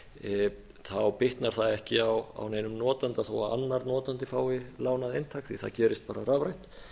internetið þá bitnar það ekki á neinum notanda þó að annar notandi fái lánað eintak því það gerist bara rafrænt